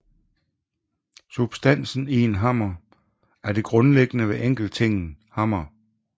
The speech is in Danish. Substansen i en hammer er det grundlæggende ved enkelttingen hammer